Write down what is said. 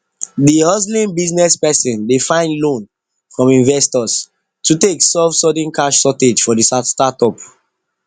d hustling business person dey find loan from investors to take solve sudden cash shortage for the startup